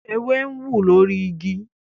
ewé ń wú lórí ìgi